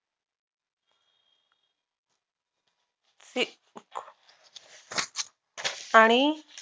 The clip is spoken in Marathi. सी आणि